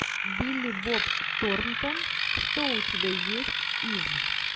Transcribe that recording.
билли боб торнтон что у тебя есть из